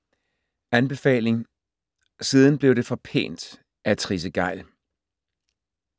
Anbefaling: Siden blev det for pænt af Trisse Gejl